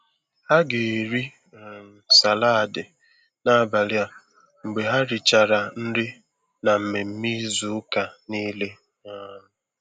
Ha ga-eri um salaadi n'abalị a mgbe ha richara nri na mmemme izu ụka niile. um